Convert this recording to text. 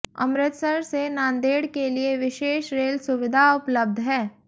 अमृतसर से नांदेड़ के लिए विशेष रेल सुविधा उपलब्ध है